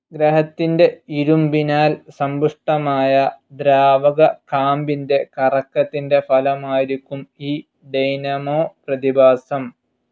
ഗ്രഹത്തിൻ്റെ ഇരുമ്പിനാൽ സമ്പുഷ്ടമായ ദ്രാവക കാമ്പിൻ്റെ കറക്കത്തിൻ്റെ ഫലമായിരിക്കും ഈ ഡൈനാമോ പ്രതിഭാസം.